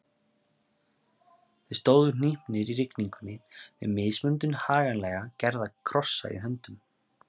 Þeir stóðu hnípnir í rigningunni með mismunandi haganlega gerða krossa í höndum.